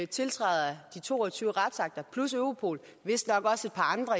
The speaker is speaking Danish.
tiltræder de to og tyve retsakter plus europol og vistnok også et par andre